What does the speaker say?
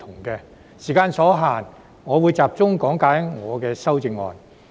由於時間所限，我會集中講解我的修正案。